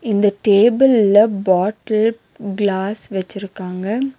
இந்த டேபிள்ல bottle glass வெச்சிருக்காங்க.